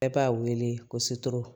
Bɛɛ b'a wele ko